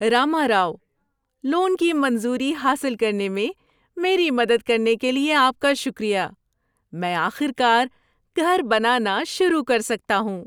Rama Rao, loan کی منظوری حاصل کرنے میں میری مدد کرنے کے لیے آپ کا شکریہ۔ میں آخر کار گھر بنانا شروع کر سکتا ہوں۔